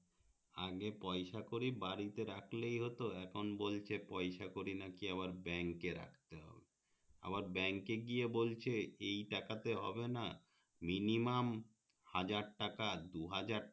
আগে পয়সা করি বাড়িতে রাখলেই হতো এখন বলছে পয়সা করি নাকি আবার bank রাখতে হবে আবার bank গিয়ে বলছে এই তাকাতে হবে না minimum হাজার টাকা দুহাজার